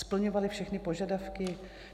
Splňovaly všechny požadavky?